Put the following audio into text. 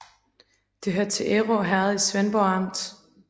Det hørte til Ærø Herred i Svendborg Amt